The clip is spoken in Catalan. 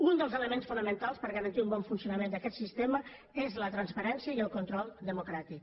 un dels elements fonamentals per garantir un bon funcionament d’aquest sistema és la transparència i el control democràtic